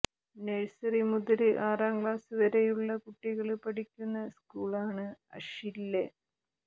nursery മുതല് ആറാം class വരെയുള്ള കുട്ടികള് പഠിക്കുന്ന സ്കൂളാണ് അഷ്വില്ലെ